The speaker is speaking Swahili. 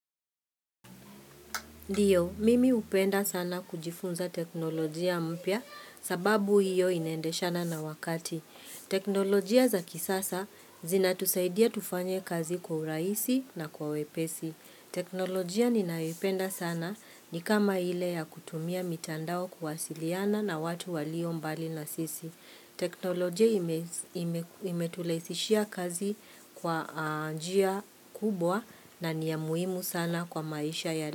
Ndiyo, mimi hupenda sana kujifunza teknolojia mpya sababu hiyo inaendeshana na wakati. Teknolojia za kisasa zinatusaidia tufanye kazi kwa urahisi na kwa wepesi. Teknolojia ninayoipenda sana ni kama ile ya kutumia mitandao kuwasiliana na watu walio mbali na sisi. Teknolojia imetulaisishia kazi kwa a njia kubwa na ni ya muhimu sana kwa maisha ya li.